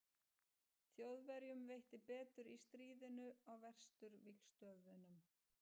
Þjóðverjum veitti betur í stríðinu á Vesturvígstöðvunum.